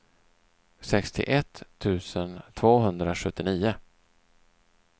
sextioett tusen tvåhundrasjuttionio